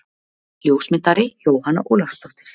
Ljósmyndari: Jóhanna Ólafsdóttir.